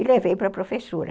E levei para a professora.